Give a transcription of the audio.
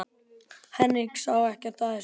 Henrik sá ekkert að þessu.